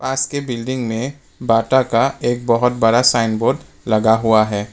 पास के बिल्डिंग में बाटा का एक बहोत बड़ा साइन लगा हुआ है।